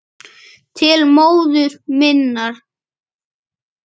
Til móður minnar.